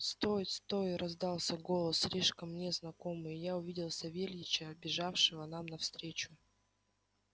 стой стой раздался голос слишком мне знакомый и я увидел савельича бежавшего нам навстречу